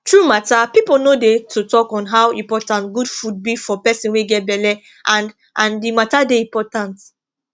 true matter people no dey to talk on how important good food be for person wey get belle and and rhe matter dey important